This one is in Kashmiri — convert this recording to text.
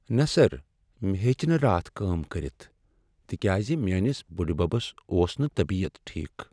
نہ سر، مےٚ ہیٚچ نہٕ راتھ کٲم کٔرتھ تکیاز میٚٲنس بُڈِببس اوس نہٕ طبیت ٹھیكھ ۔